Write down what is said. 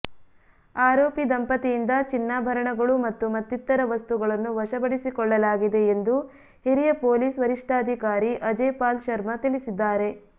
ಆರೋಪಿ ದಂಪತಿಯಿಂದ ಚಿನ್ನಾಭರಣಗಳು ಮತ್ತು ಮತ್ತಿತರ ವಸ್ತುಗಳನ್ನು ವಶಪಡಿಸಿಕೊಳ್ಳಲಾಗಿದೆ ಎಂದು ಹಿರಿಯ ಪೊಲೀಸ್ ವರಿಷ್ಠಾಧಿಕಾರಿ ಅಜಯ್ ಪಾಲ್ ಶರ್ಮ ತಿಳಿಸಿದ್ದಾರೆ